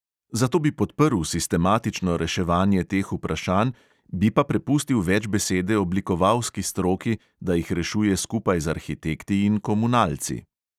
Zato bi podprl sistematično reševanje teh vprašanj, bi pa prepustil več besede oblikovalski stroki, da jih rešuje skupaj z arhitekti in komunalci.